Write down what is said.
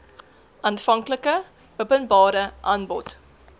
aanvanklike openbare aanbod